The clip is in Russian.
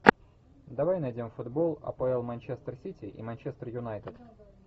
давай найдем футбол апл манчестер сити и манчестер юнайтед